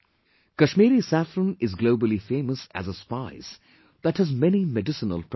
Kashmiri saffron is globally famous as a spice that has many medicinal properties